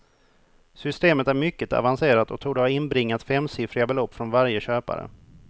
Systemet är mycket avancerat och torde ha inbringat femsiffriga belopp från varje köpare.